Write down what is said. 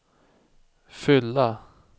fylla